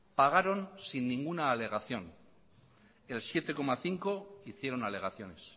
pagaron sin ninguna alegación el siete coma cinco por ciento hicieron alegaciones